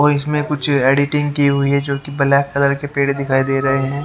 ओर इसमें कुछ एडिटिंग की हुई है जो कि ब्लैक कलर के पेड़ दिखाई दे रहे हैं।